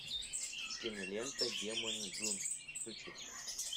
кинолента демоны джун включи